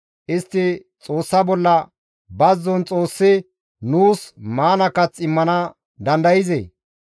Istti Xoossa bolla, «Bazzon Xoossi nuus maana kath immana dandayzee?